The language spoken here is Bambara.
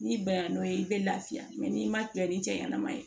N'i banna n'o ye i bɛ lafiya n'i ma bila ni cɛɲanama ye